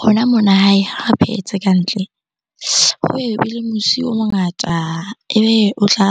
Rona mona hae ha re phehetse kantle, ho musi o mongata ebe o tla